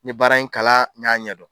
Nye baara in kala, n y'a ɲɛ dɔn.